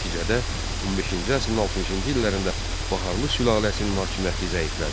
Nəticədə, 15-ci əsrin 60-cı illərində Baharlı sülaləsinin hakimiyyəti zəiflədi.